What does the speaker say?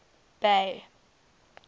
bay